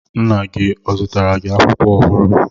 Nna gi ọ zụtara gi akwụkwọ ọhụrụ?